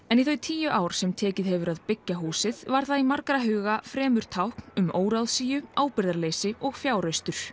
en í þau tíu ár sem tekið hefur að byggja húsið var það í margra huga fremur tákn um óráðsíu ábyrgðarleysi og fjáraustur